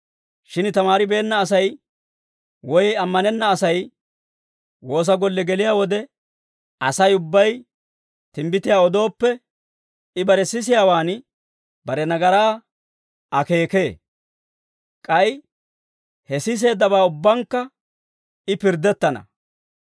Shin tamaaribeenna Asay woy ammanenna Asay woosa golle geliyaa wode, Asay ubbay timbbitiyaa odooppe, I bare sisiyaawaan bare nagaraa akeekee. K'ay he siseeddabaa ubbankka I pirddettana.